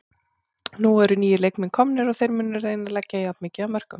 Nú eru nýir leikmenn komnir og þeir munu reyna að leggja jafn mikið af mörkum.